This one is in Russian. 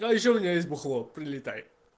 а ещё у меня есть бухло прилетай